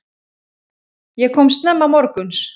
Ég kom snemma morguns.